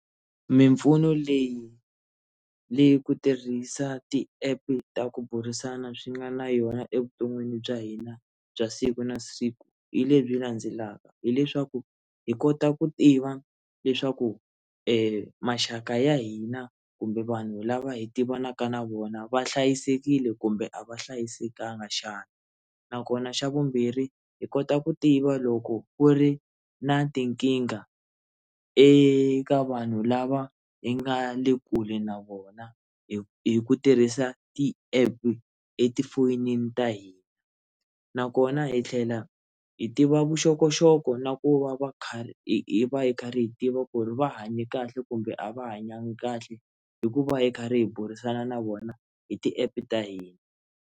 Mimpfuno leyi leyi ku tirhisa ti-app ta ku burisana swi nga na yona evuton'wini bya hina bya siku na siku hi lebyi landzelaka hileswaku hi kota ku tiva leswaku maxaka ya hina kumbe vanhu lava hi tivanaka na vona va hlayisekile kumbe a va hlayisekanga xana nakona xa vumbirhi hi kota ku tiva loko ku ri na tinkingha eka vanhu lava hi nga le kule na vona hi hi ku tirhisa ti-app etifonini ta hina nakona hi tlhela hi tiva vuxokoxoko na ku va va kha hi va hi karhi hi tiva ku ri va hanye kahle kumbe a va hanyanga kahle hi ku va hi karhi hi burisana na vona hi ti-app ta hina.